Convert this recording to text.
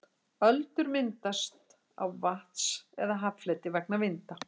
öldur myndast á vatns eða haffleti vegna vinda